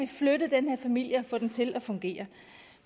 flytte den her familie og få den til at fungere